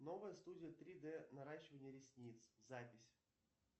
новая студия три д наращивание ресниц запись